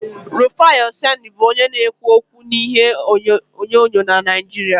Rufai Oseni bụ onye na-ekwu okwu n'ihe onyonyo na Naijiria